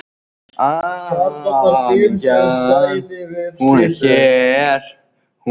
Það kom alveg fyrir.